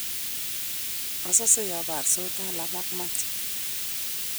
asase ya borsot Talam ak Matty